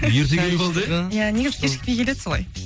ерте келіп алды иә і иә негізі кешікпей келеді солай